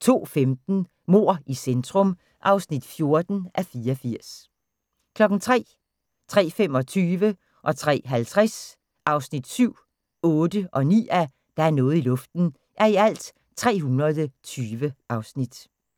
02:15: Mord i centrum (14:84) 03:00: Der er noget i luften (7:320) 03:25: Der er noget i luften (8:320) 03:50: Der er noget i luften (9:320)